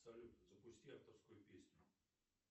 салют запусти авторскую песню